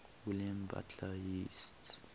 william butler yeats